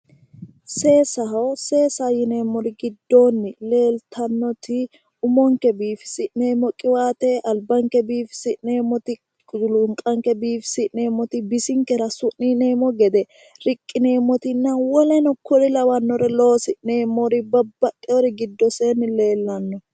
Seesaho. seesaho yineemmori giddoonni leeltannoti umonkke biiifisi'neemmo albanke biifisi'neemmoti , culunqanke biifisi'neemmoti, bisinkera su'niineemmo gede riqqineeemmotinna woleno kuri lawanno loosi'neemmori leellanno.